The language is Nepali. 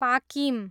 पाकिम